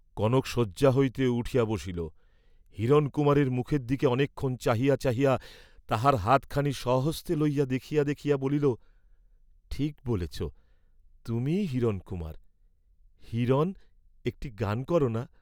কনক শয্যা হইতে উঠিয়া বসিল, হিরণকুমারের মুখের দিকে অনেকক্ষণ চাহিয়া চাহিয়া তাহার হাত খানি স্বহস্তে লইয়া দেখিয়া দেখিয়া বলিল, ঠিক বলেছ, তুমিই হিরণকুমার; হিরণ, একটি গান কর না।